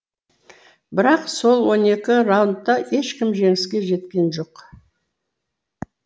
бірақ сол он екі раунда ешкім жеңіске жеткен жоқ